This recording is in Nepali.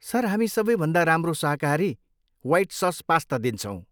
सर, हामी सबैभन्दा राम्रो शाकाहारी वाइट सस पास्ता दिन्छौँ।